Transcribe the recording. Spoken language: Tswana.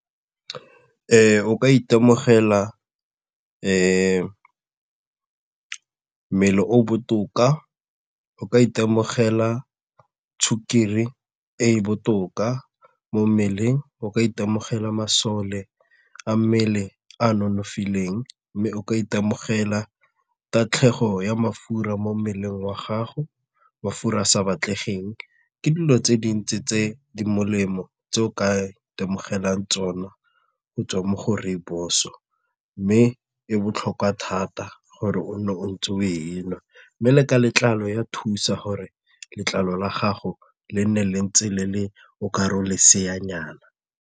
O ka itemogela mmele o botoka, o ka itemogela sukiri e e botoka mo mmeleng, o ka itemogela masole a mmele a nonofileng mme o ka itemogela tatlhego ya mafura mo mmeleng wa gago mafura sa batlegeng. Ke dilo tse dintsi tse di molemo tse o ka itemogelang tsona go tswa mo go rooibos mme e botlhokwa thata gore o nne o ntse o e nwa mme le ka letlalo e a thusa gore letlalo la gago le nne le ntse le le o ka re la leseanyana.